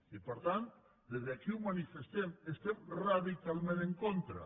i per tant des d’aquí ho manifestem hi estem radicalment en contra